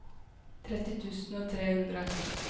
tretti tusen og tre hundre